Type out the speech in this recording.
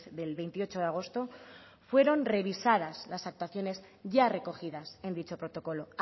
del veintiocho de agosto fueron revisadas las actuaciones ya recogidas en dicho protocolo